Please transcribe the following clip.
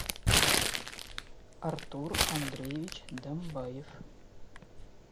артур андреевич домбаев